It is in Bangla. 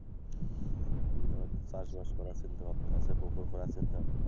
চাষবাস করার চিন্তা ভাবনা আছে, পুকুর করার চিন্তা,